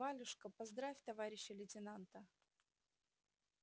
валюшка поздравь товарища лейтенанта